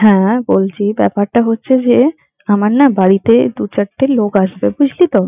হ্যাঁ বলছি ব্যাপারটা হচ্ছে যে, আমার না বাড়িতে দু চারটে লোক আসবে বুঝলি তো,